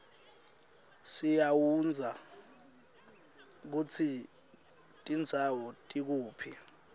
siaundza kutsi tindzawo tikuphi